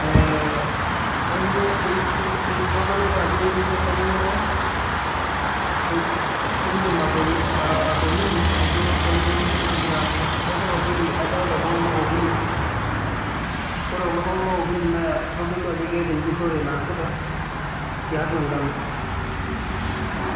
Eh this shows that how can you describe something happening here. Yes I can see three people here and this three people shows there is a research there are doing here in this wheat.